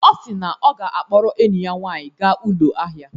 Ọ si na ọ ga-akpọrọ enyi ya nwaanyị gaa ụlọ ahịa